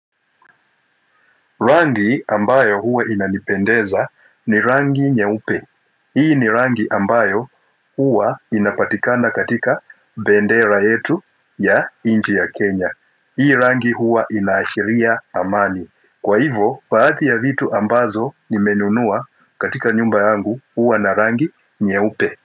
Rangi ambayo huwa inanipendeza ni rangi nyeupe. Hii ni rangi ambayo huwa inapatikana katika bendera yetu ya inchi ya Kenya. Hii rangi huwa inaashiria amani. Kwa hivo, baadhii ya vitu ambazo nimenunua katika nyumba yangu huwa na rangi nyeupe.